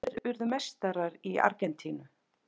Hverjir urðu meistarar í Argentínu?